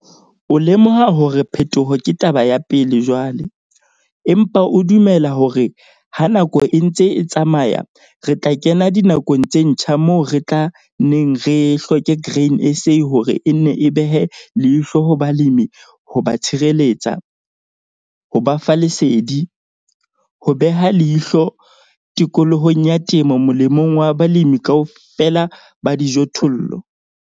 O lemoha hore phetoho ke taba ya pele jwale, empa o dumela hore ha nako e ntse e tsamaya re tla kena dinakong tse ntjha moo re tla nneng re hloke Grain SA hore e nne e behe leihlo ho balemi ho ba tshireletsa, ho ba fa lesedi, ho beha leihlo tikolohong ya temo molemong wa balemi KAOFELA ba dijothollo.